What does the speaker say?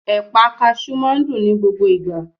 Ẹ̀pà kasú máa n dùn ní gbogbo ìgbà